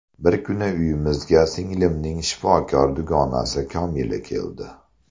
Bir kuni uyimizga singlimning shifokor dugonasi Komila keldi.